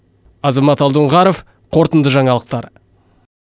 азамат алдоңғаров қорытынды жаңалықтар